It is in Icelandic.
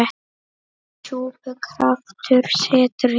Í súpu kraftur settur er.